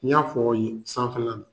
N y'a fɔ yen sanfɛ la